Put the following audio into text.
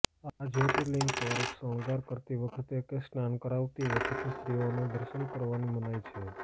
આ જયોર્તિલિંગ પર શણગાર કરતી વખતે કે સ્નાન કરાવતી વખતે સ્ત્રીઓને દર્શન કરવાની મનાઈ છે